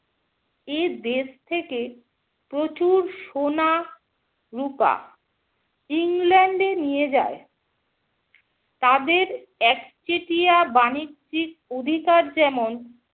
এদেশ থেকে প্রচুর সোনা, রুপা ইংল্যান্ড এ নিয়ে যায়। তাদের একচেটিয়া বাণিজ্যিক অধিকার যেমন